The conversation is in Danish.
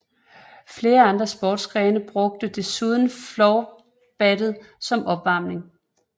Flere andre sportsgrene brugte desuden floorballen som opvarmning